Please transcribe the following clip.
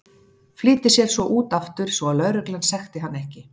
Flýtir sér svo út aftur svo að lögreglan sekti hann ekki.